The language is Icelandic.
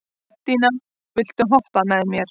Betanía, viltu hoppa með mér?